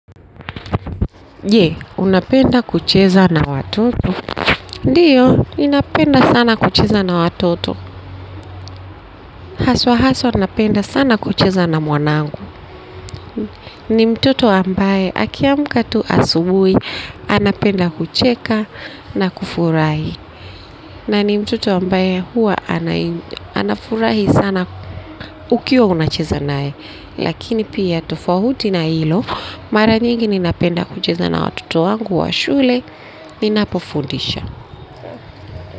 Je, unapenda kucheza na watoto? Ndio, ninapenda sana kucheza na watoto. Haswa haswa, napenda sana kucheza na mwanangu. Ni mtoto ambaye, akiamka tu asubuhi, anapenda kucheka na kufurahi. Na ni mtoto ambaye huwa anafurahi sana ukiwa unacheza nae. Lakini pia tofauti na hilo, mara nyingi ninapenda kucheza na watoto wangu wa shule, ninapo fundisha.